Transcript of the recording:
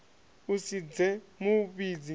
u si dze mu vhidzi